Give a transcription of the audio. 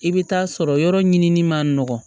I bɛ taa sɔrɔ yɔrɔ ɲinini man nɔgɔn